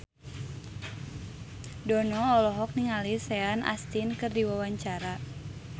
Dono olohok ningali Sean Astin keur diwawancara